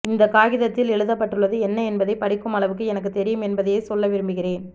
இந்த காகிதத்தில் எழுதப்பட்டுள்ளது என்ன என்பதை படிக்கும் அளவுக்கு எனக்குத் தெரியும் என்பதையே சொல்ல விரும்புகிறேன்